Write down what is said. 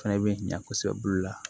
Fɛnɛ bɛ ɲa kosɛbɛ bolo la